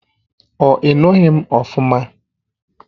Ọ inughi m ofuma?